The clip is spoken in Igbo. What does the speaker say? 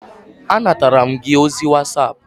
Anatara m gị ozi whatapp